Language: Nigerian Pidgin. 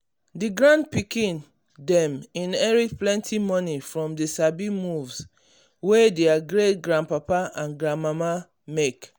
the grand pikin dem inherit plenty money from the sabi moves wey their great-grandpapa and grandmama make.